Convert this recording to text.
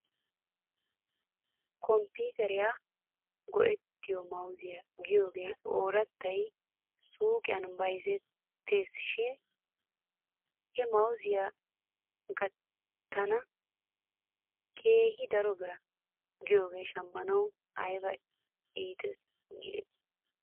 Komppiteriyaara go'ettiyoo mawziyaa giyoogee oorattay suyqiyan bayzettes shin he mawzee gatiyaa keehi daro bira giyoogee shamanaw ayba iites giidetii .